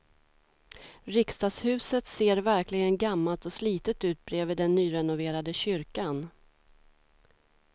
Riksdagshuset ser verkligen gammalt och slitet ut bredvid den nyrenoverade kyrkan.